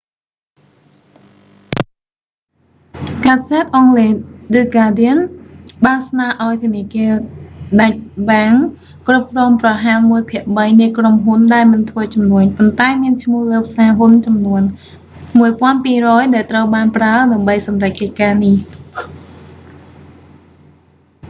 កាសែតអង់គ្លេស ឌឹ ហ្កាដៀន the guardian បានស្នើឱ្យធនាគារដាច់បែង deutsche bank គ្រប់គ្រងប្រហែលមួយភាគបីនៃក្រុមហ៊ុនដែលមិនធ្វើជំនួញប៉ុន្តែមានឈ្មោះលើផ្សារហ៊ុនចំនួន 1200 ដែលត្រូវបានប្រើដើម្បីសម្រេចកិច្ចការនេះ